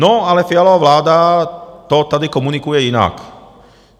No, ale Fialova vláda to tady komunikuje jinak.